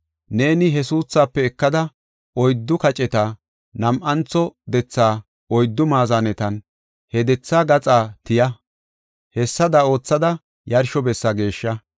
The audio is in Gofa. Neeni he suuthaafe ekada, oyddu kaceta, nam7antho dethaa oyddu maazanetanne he dethaa gaxaa tiya. Hessada oothada, yarsho bessa geeshsha.